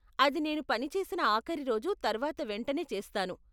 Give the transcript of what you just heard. అది నేను పని చేసిన ఆఖరి రోజు తర్వాత వెంటనే చేస్తాను.